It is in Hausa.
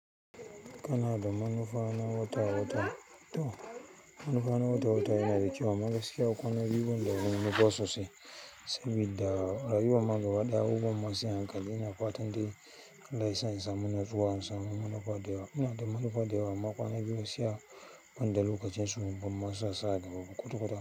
Kanada manufa na wata-wata, to manufa na wata-wata yana da ƙyau amma magaskiya kwana biyu banida wani manufa sosai, sabida rayuwar ma gaba ɗaya abubuwan ma sai a hankali ina fatan dai Allah yasa in samu nutsuwa samun manufa da yawa, yana da manufa da yawa, makwana biyu gaskiya banda lokacin su ban ma su asa da babu kutukuta.